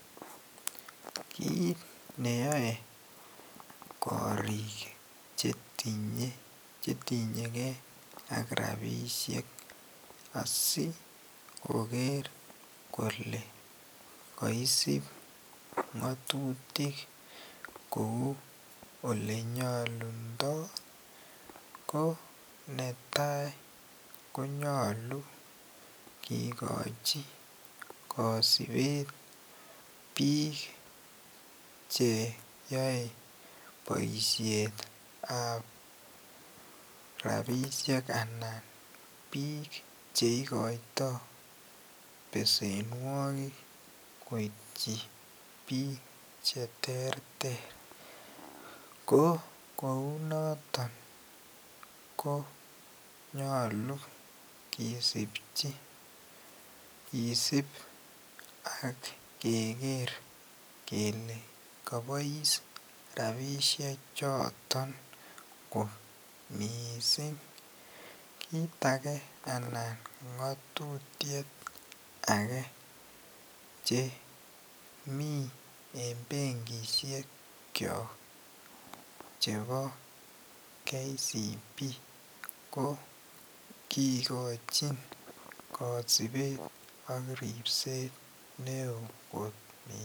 Kit neyae korik chetinye gei ak rabishek asikoger Kole kaisib ngatutik Kou olenyalundoi ko netai konyalu kekachi kasibet bik cheyae baishet ab rabishek anan bik cheikoitoi besenwagik koityin bik cheterter ko kounoton konyalu kesibchi kesib keger kele kabais rabishek choton Koe mising kit age anan ngetutiet age chemi en benkishrk kyok chebo KCB ko ikochin kasibet Nebo ribset neon kot mising